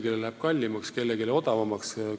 Kas kellelegi läheb midagi kallimaks või odavamaks?